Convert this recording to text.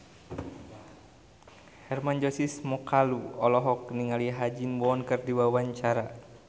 Hermann Josis Mokalu olohok ningali Ha Ji Won keur diwawancara